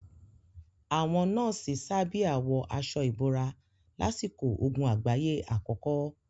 Àwọn nọ́ọ̀sì sábíà wọ aṣọ ìbòmọ́ra lásìkò ogun àgbáyé àkọ́kọ́.